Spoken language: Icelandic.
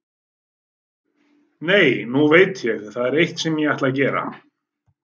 Nei, nú veit ég, það er eitt sem ég ætti að gera.